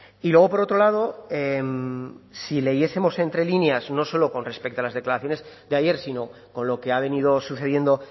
y luego por otro lado si leyesemos entre líneas no solo con respecto a las declaraciones de ayer sino con lo que ha venido sucediendo